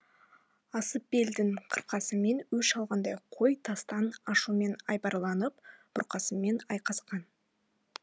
асып белдің қырқасымен өш алғандай қой тастан ашуменен айбарланып бұрқасынмен айқасқан